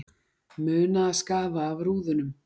Muna að skafa af rúðunum